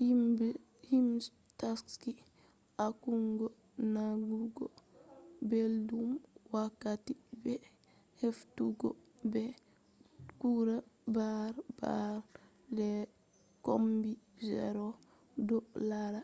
himbe je taski accugo nanugo beldum, wakkati be heftugo be tura bare bare les kombi zero do lara